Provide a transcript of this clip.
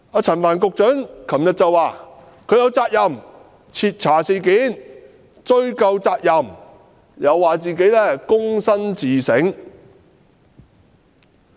陳帆局長昨天表示，他有責任徹查事件和追究責任，又表示自己躬身自省。